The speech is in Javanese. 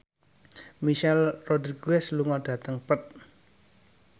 Michelle Rodriguez lunga dhateng Perth